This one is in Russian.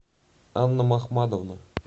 анна махмадовна